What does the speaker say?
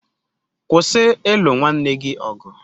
.Kwụsị ịlụ nwanne gị ọgụ.